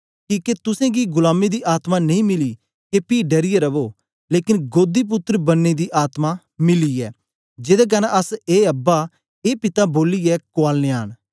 किके तुसेंगी गुलामी दी आत्मा नेई मिली के पी डरियै रवो लेकन गोदीपुत्र बनने दी आत्मा मिली ऐ जेदे कन्ने अस ए अब्बा ए पिता बोलियै कुआलनयां न